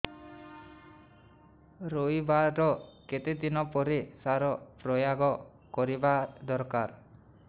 ରୋଈବା ର କେତେ ଦିନ ପରେ ସାର ପ୍ରୋୟାଗ କରିବା ଦରକାର